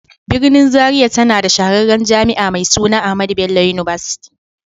Birnin Zaria tana da shahararriyar Jami'a mai suna AHMADU BELLO UNIVERSITY.